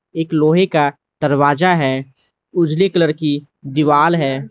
एक लोहे का दरवाजा है उजले कलर की दीवाल है।